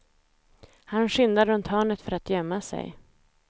Han skyndar runt hörnet för att gömma sig.